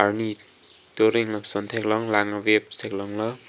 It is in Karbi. arni turing lapuson theklong lank waves theklonglo.